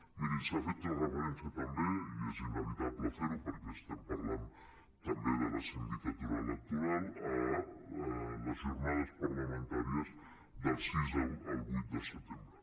mirin s’ha fet referència també i és inevitable fer ho perquè estem parlant també de la sindicatura electoral a les jornades parlamentàries del sis al vuit de setembre